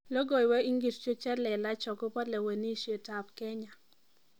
Logoiwek ingircho che lelach akobo lewenishetab Kenya